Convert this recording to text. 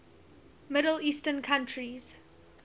middle eastern countries